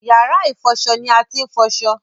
Yàrá-ìfọṣọ ni wọ́n ti ń fọṣọ.